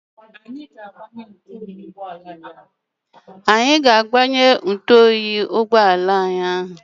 Anyị ga-agbanye ntụoyi ụgbọala anyị ahụ.